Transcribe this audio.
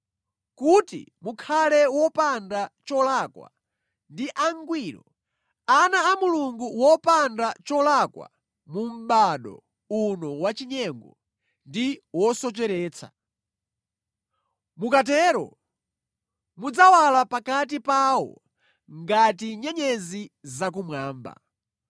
kuti mukhale wopanda cholakwa ndi angwiro, ana a Mulungu wopanda cholakwika mu mʼbado uno wachinyengo ndi wosocheretsa. Mukatero mudzawala pakati pawo ngati nyenyezi zakumwamba